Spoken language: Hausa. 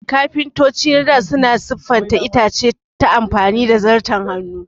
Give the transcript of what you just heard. Kafintoci na dā suna siffanta itace ta amfani da Zarton Hannu